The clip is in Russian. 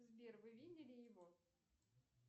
сбер вы видели его